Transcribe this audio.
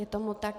Je tomu tak.